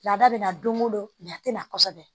Laada bɛ na don o don a tɛ na kosɛbɛ